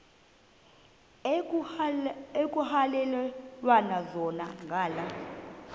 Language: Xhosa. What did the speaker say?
ekuhhalelwana zona ngala